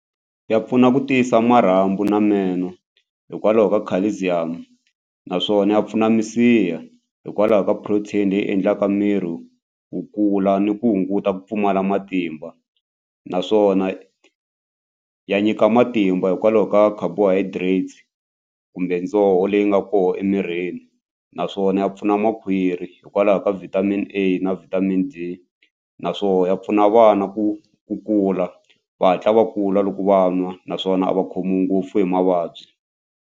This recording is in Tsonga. Ya pfuna ku tiyisa marhambu ni meno hikwalaho ka calcium naswona ya pfuna misiha hikwalaho ka protein leyi endlaka miri wu kula ni ku hunguta ku pfumala matimba naswona ya nyika matimba hikwalaho ka carbohydrates kumbe dzoho leyi nga koho emirini naswona ya pfuna makhwiri hikwalaho ka vitamin A na vitamin D naswona ya pfuna vana ku ku kula va hatla va kula loko va nwa naswona a va khomiwi ngopfu hi mavabyi.